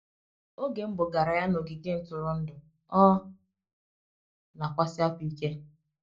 oge m gbogara ya n’ogige ntụrụndụ, ọ na - akwasi ákwá ike.